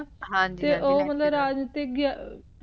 ਹਾਂਜੀ ਹਾਂਜੀ ਤੇ